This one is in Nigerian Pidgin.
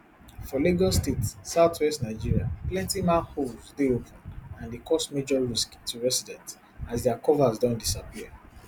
for lagos state southwest nigeria plenti manholes dey open and dey cause major risk to residents as dia covers don disappear